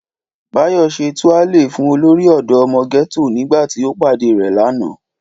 Báyọ̀ ṣe túálè fún olórí ọ̀dọ́ ọmọ gẹ́tò nígbà tí ó pàdé rẹ̀ lánàá